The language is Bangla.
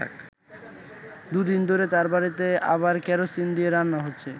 দুদিন ধরে তার বাড়িতে আবার কেরোসিন দিয়ে রান্না হচ্ছে।